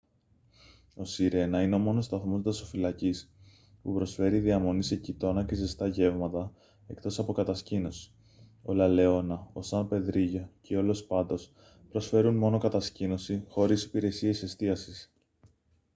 ο σιρένα είναι ο μόνος σταθμός δασοφυλακής που προσφέρει διαμονή σε κοιτώνα και ζεστά γεύματα εκτός από κατασκήνωση ο λα λεόνα ο σαν πεδρίγιο και ο λος πάτος προσφέρουν μόνο κατασκήνωση χωρίς υπηρεσίες εστίασης